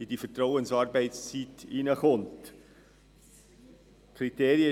der Vertrauensarbeitszeit unterstellt wird.